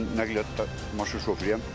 Mən nəqliyyat maşın şoferiyəm.